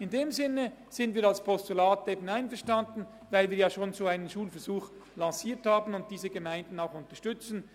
In diesem Sinne sind wir mit einem Postulat einverstanden, weil wir schon einen solchen Schulversuch lanciert haben und diese Gemeinden auch unterstützen.